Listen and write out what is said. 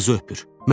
Bir qızı öpür.